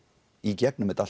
í gegnum þetta